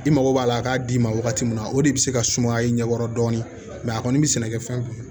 I mago b'a la a k'a d'i ma wagati min na o de bɛ se ka sumaya i ɲɛ kɔrɔ dɔɔni a kɔni bɛ sɛnɛkɛfɛn kun